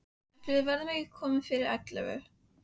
Ætli við verðum ekki komin fyrir ellefu.